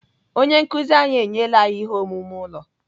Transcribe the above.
Onye nkụzi anyị enyela anyị ihe omume ụlọ.